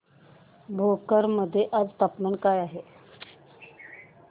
भोकर मध्ये आज तापमान काय आहे